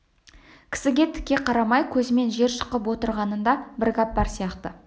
кісіге тіке қарамай көзімен жер шұқып отырғанында да бір гәп бар сияқты